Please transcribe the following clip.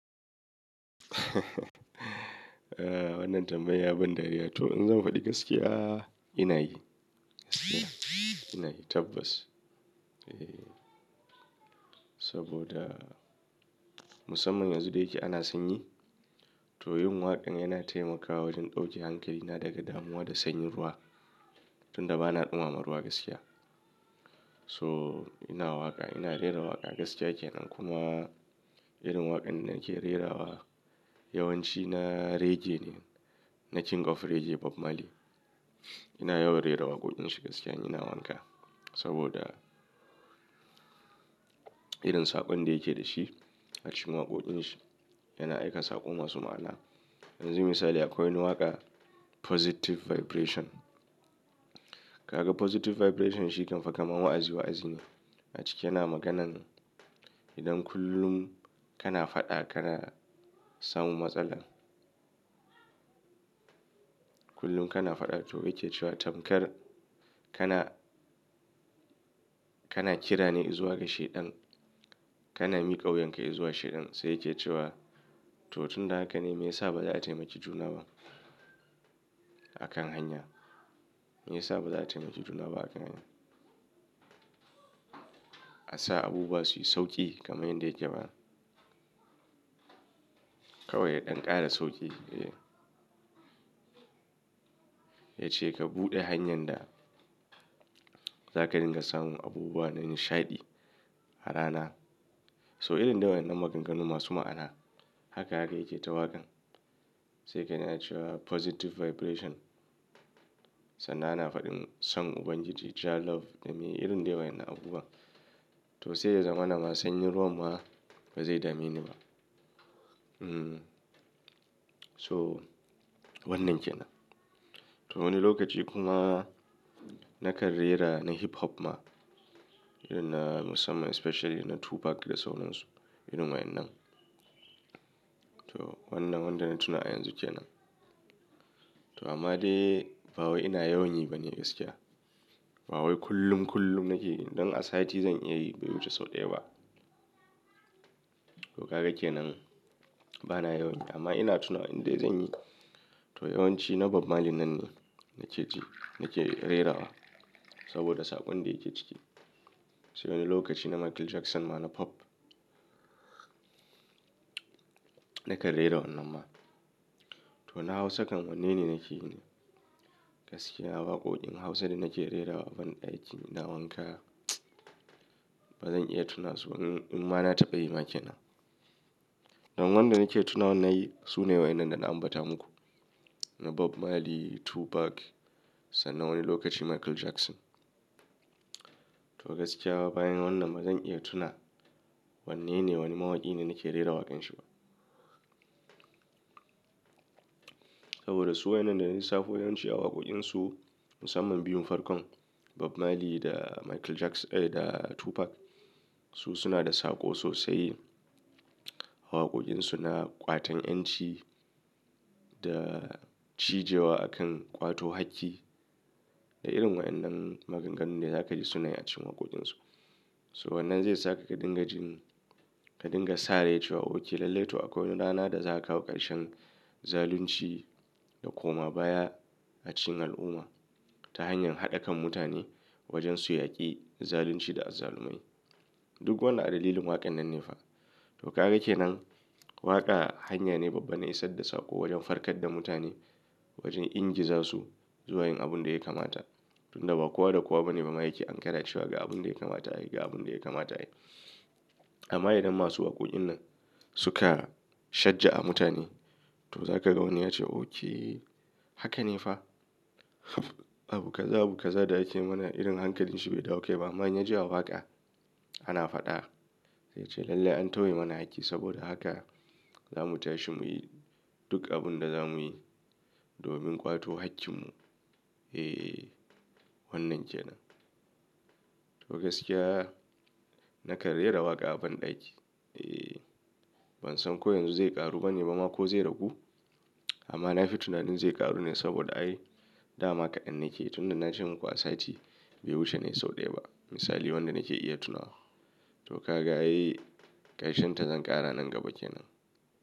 Wannan tambaya ya ban dariya to in zan faɗi gaskiya ina yi. Ina yi tabbas. Saboda musamman yanzu da yake ana sanyi to yin waƙan yana taimakawa wajen ɗauke hankalina daga damuwa da sanyin ruwa tunda bana ɗumamar ruwa gaskiya. So ina waƙa, ina rera waƙa gaskiya kenan. Kuma irin waƙan da nake rerawa yawanci na reggae ne, na king of reggae Bob Marley. Ina yawan rera waƙoƙin shi gaskiya ina wanka saboda irin saƙon da yake dashi a cikin waƙoƙin shi yana aika saƙo masu ma'ana. Yanzu misali akwai wani waƙa Positive Vibration. Ka ga Positive Vibration shi kam faka ma wa'azi wa'azmi a ciki yana maganan idan kullum kana faɗa kana samu matsala. Kullum kana faɗa to yake cewa tamkar kana, kana kira ne zuwa ga shaidan. Kana miƙa wuyanka zuwa shaidan sai yake cewa to tunda haka ne mai yasa baza a taimaki juna ba a kan hanya. Mai yasa baza a taimaki juna ba a kan hanya. A sa abubuwa suyi sauƙi kamar yadda yake ba. Kawai ya ɗan ƙara sauƙi eh. Ya ce ka buɗe hanyar da zaka dinga samun abubuwa na nishaɗi a rana. So irin dawan nan maganganu masu ma'ana haka haka yake ta waƙan. Sai ka nuna cewa Positive Vibration sannan ana faɗin son Ubangiji, Jah love, dame irin dawan yana abubuwa. To sai ya zama na ma sanyin ruwan ma ba zai dame ni ba. Hmm. So wannan kenan. To wani lokaci kuma na kar rera na hip hop ma irin na musamman especially na Tupac da sauran su irin wayan nan. To wannan wanda na tuna yanzu kenan. To amma dai ba wai ina yawan yi ba ne gaskiya. Ba wai kullum kullum nake yi. Idan a sati zan yi biyu wuce sau ɗaya ba. To kaga kenan bana yawan yi amma ina tuna inda zan yi. To yawanci na Bob Marley nan ne nake ji, nake rerawa saboda saƙon da yake ciki. Sai wani lokaci na Michael Jackson ma na pop. Na kar rera wannan ma. To na Hausa kan wannan ne nake yi ne gaskiya. Waƙoƙin Hausa da nake rerawa a banɗaki ina wanka bazan iya tuna su ba. Um ma na taɓa yi ba kenan. Dan wannan da nake tuna wannan yayi su ne wayan nan da na ambata muku. Na Bob Marley, Tupac sannan wani lokaci Michael Jackson. To gaskiya bayan wannan bazan iya tuna wanne ne wani mawaki ne nake rera waƙan shi ba. Saboda su wayan nan da nisa fo yawanci a waƙoƙin su musamman biyun farkon Bob Marley da Michael Jackson, eh da Tupac su suna da saƙo sosai. Waƙoƙin su na ƙwatan 'yanci da cije wa akan ƙwato hakki. Da irin waƴan nan maganganu ne zaka ji sunayi a cikin waƙoƙin su. So wannan zai saka ka dinga jin, ka dinga sa rai cewa oke lallai to akwai wani rana da zaka kawo ƙarshen zalunci da koma baya a cikin al'umma ta hanyar haɗa kan mutane wajen su yaƙi zalunci da azzalumai. Duk wannan a dalilin waƙan nan ne fa. To kaga kenan waƙa hanya ne babba na isa da saƙo wajen farkar da mutane wajen ingiza su zuwa yin abun da yake mata. Tunda ba kowa da kowa bane mama yake an kara cewa ga abun da yake mata ai, ga abun da yake mata ai. Amma idan masu waƙoƙin nan suka shajja a mutane to zaka ga wani yace oke haka ne fa. Abu kaza, abu kaza da yake mana irin hankalin shi bai dauke ba amma in ya ji waƙa ana faɗa ya ce lallai an tauye mana hakki saboda haka zamu tashi muyi duk abun da zamuyi domin ƙwato hakkin mu. Eh wannan kenan. To gaskiya na kar rera waƙa a banɗaki. Eh ban san ko yanzu zai ƙaru bane ba ma ko zai ragu amma na fi tunanin zai ƙaru ne saboda ai dama kaɗan nake tunda na ce muku a sati bai wuce nayi sau ɗaya ba misali wanda nake iya tunawa. To kaga ai ƙarshen ta zan ƙara nan gaba kenan.